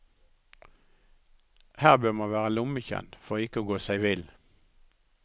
Her bør man være lommekjent for å ikke gå seg vill.